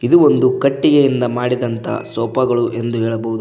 ಇದು ಒಂದು ಕಟ್ಟಿಗೆಯಿಂದ ಮಾಡಿದಂತ ಸೋಫಾ ಗಳು ಎಂದು ಹೇಳಬಹುದು.